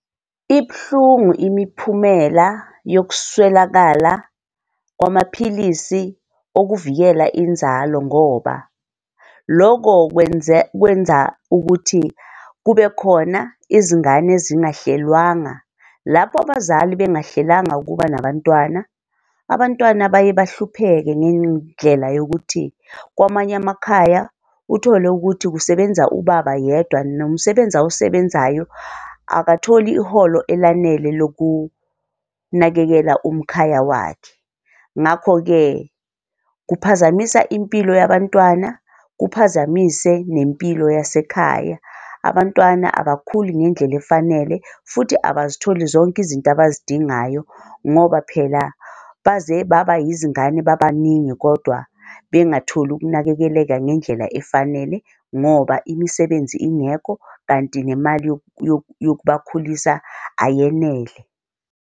Ibuhlungu imiphumela yokuswelakala kwamaphilisi okuvikela inzalo, ngoba loko kwenza kwenza ukuthi kubekhona izingane zingahlelwanga, lapho abazali bengahlelanga ukuba nabantwana, abantwana baye bahlupheke ngendlela yokuthi kwamanye amakhaya uthole ukuthi kusebenza ubaba yedwa nomsebenzi awusebenzayo akatholi iholo elanele lokunakekela umkhaya wakhe. Ngakho-ke kuphazamisa impilo yabantwana, kuphazamise nempilo yasekhaya, abantwana abakhuli ngendlela efanele futhi abazithola zonke izinto abazidingayo, ngoba phela baze baba yizingane babaningi kodwa bengatholi ukunakekeleka ngendlela efanele ngoba imisebenzi ingekho kanti nemali yokubakhulisa ayenele.